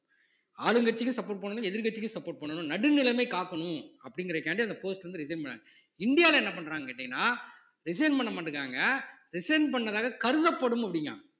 ஆளுங்கட்சிக்கு support பண்ணணும் எதிர்க்கட்சிக்கு support பண்ணணும் நடுநிலைமை காக்கணும் அப்படிங்கிறதுக்காண்டி அந்த post வந்து resign பண்ணாங்க இந்தியாவுல என்ன பண்றாங்கன்னு கேட்டீங்கன்னா resign பண்ண மாட்டேங்குறாங்க resign பண்ணதாக கருதப்படும் அப்படிங்கறான்